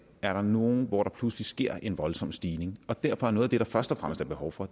er der nogle områder hvor der pludselig sker en voldsom stigning derfor er noget af det der først og fremmest er behov for